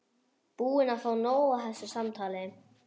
Búin að fá nóg af þessu samtali.